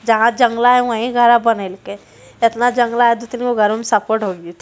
जहा जंगला है वहीं घरा बनैलकै एतना जंगला है दू तीन गो घरवो मे संपवो ढुक जैतइ।